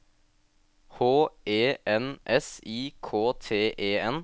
H E N S I K T E N